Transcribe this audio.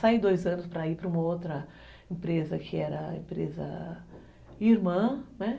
Saí dois anos para ir para uma outra empresa, que era a empresa irmã, né?